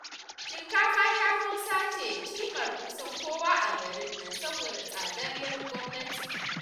Shinkafa 'yar Hausa ce cimar kusan kowa a garin nan saboda tsadar 'yar gwamnati